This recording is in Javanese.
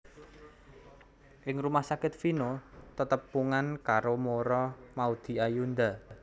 Ing rumah sakit Vino tetepungan karo Mura Maudy Ayunda